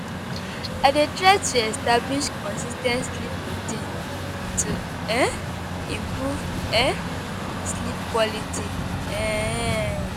I dey try to establish consis ten t sleep routine to um improve um sleep quality. um